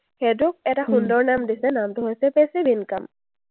সেইটোক এটা সুন্দৰ নাম দিছে। নামটো হৈছে passive income ।